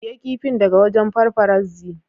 Siya kifin daga wajen paparazzi.